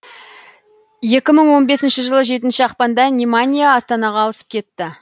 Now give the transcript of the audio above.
екі мың он бесінші жылы жетінші ақпанда неманья астанаға ауысып кетті